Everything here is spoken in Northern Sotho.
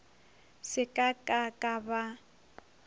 se ka ka ka ba